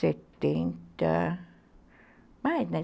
setenta... mais, né?